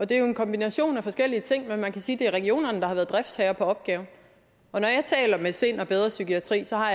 det er jo en kombination af forskellige ting men man kan sige at det er regionerne der har været driftsherre på opgaven når jeg taler med sind og bedre psykiatri har